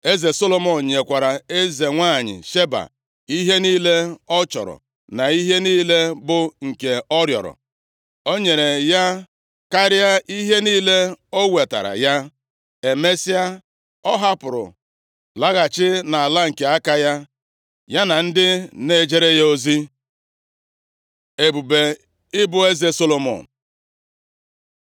Eze Solomọn nyekwara eze nwanyị Sheba ihe niile ọ chọrọ na ihe niile bụ nke ọ rịọrọ. O nyere ya karịa ihe niile o wetaara ya. Emesịa, ọ hapụrụ laghachi nʼala nke aka ya, ya na ndị na-ejere ya ozi. Ebube ibu eze Solomọn